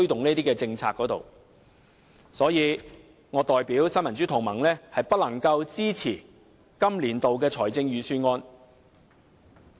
因此，我代表新民主同盟表示不能支持今年度的預算案。